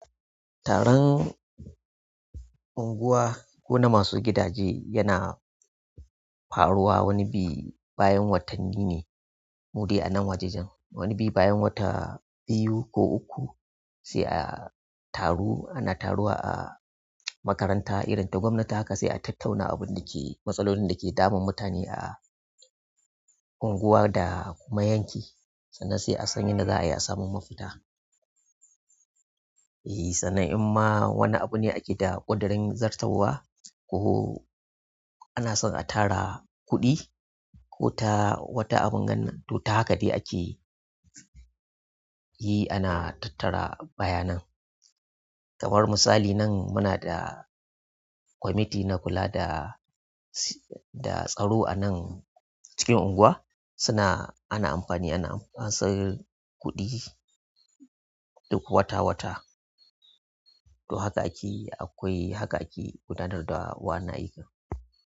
Taron unguwa ko na masu gidaje yana faruwa wani bi bayan watanni ne. Mudai a nan wajajen wani bi bayan wata biyu ko uku sai a taru ana taruwa a makaranta irin ta gwamnati haka sai a tattauna abun da ke matsalolin da ke damun mutane a unguwa da kuma yanki sannan sai a san yadda za a yi a samun mafita. E, sannan in ma wani abu ne ake da ƙadarin zartarwa ko ana so a tara kuɗi ko ta wata abin gannan to ta haka dai ake yi ana tattara bayanan. Kamar misali nan muna da kwamiti na kula da, da tsaro a nan cikin unguwa suna ana amfani, ana ansan kuɗi duk wata-wata. To haka ake akwai haka ake gudanar da wa na aika.